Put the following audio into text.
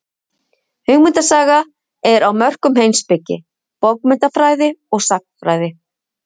Hugmyndasaga er á mörkum heimspeki, bókmenntafræði og sagnfræði.